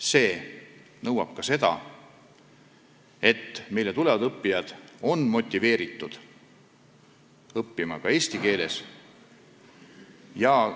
See nõuab ka seda, et meile tulevad õppijad oleksid motiveeritud õppima eesti keeles.